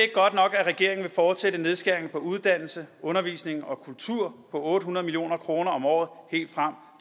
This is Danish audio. regeringen vil fortsætte nedskæringen på uddannelse undervisning og kultur på otte hundrede million kroner om året helt frem